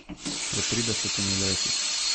Pred tridesetimi leti.